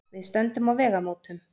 Við stöndum á vegamótum.